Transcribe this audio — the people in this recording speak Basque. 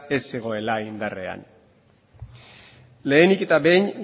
ez zegoela indarrean lehenik eta behin